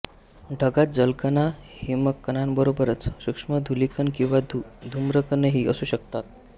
ढगात जलकणांहिमकणांबरोबरच सूक्ष्म धूलिकण किंवा धूम्रकणही असू शकतात